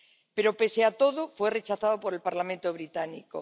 Pero, pese a todo, fue rechazado por el Parlamento británico.